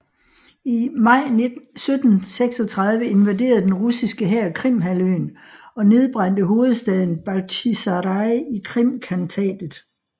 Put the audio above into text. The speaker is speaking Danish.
I maj 1736 invaderede den russiske hær Krimhalvøen og nedbrændte hovedstaden Bakhtjisaraj i Krimkhantatet